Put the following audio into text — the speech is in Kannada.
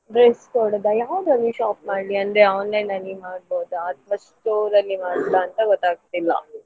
Dress ಕೊಡುದಾ ಯಾವುದ್ರಲ್ಲಿ shop ಮಾಡ್ಲಿ ಅಂದ್ರೆ online ಅಲ್ಲಿ ಮಾಡಬೋದಾ ಅಥವಾ store ಅಲ್ಲಿ ಮಾಡಬೋದಾ ಅಂತ ಗೊತ್ತಾಗ್ತಿಲ್ಲ.